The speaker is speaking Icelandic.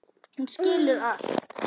Hún skilur allt.